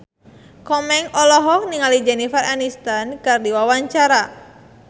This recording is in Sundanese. Komeng olohok ningali Jennifer Aniston keur diwawancara